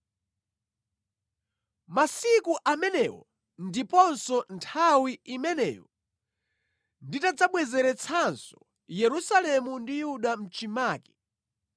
“Masiku amenewo ndiponso nthawi imeneyo, nditadzabwezeretsanso Yerusalemu ndi Yuda mʼchimake,